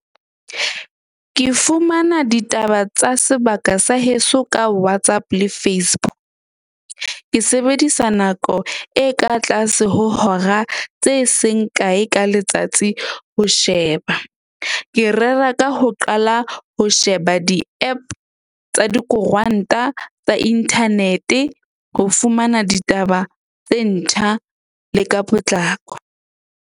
Ke fumana ditaba tsa sebaka sa heso ka WhatsApp le . Ke sebedisa nako e ka tlase ho hora tse seng kae ka letsatsi ho sheba. Ke rera ka ho qala ho sheba di-app tsa dikoranta tsa internet-e ho fumana ditaba tse ntjha le ka potlako.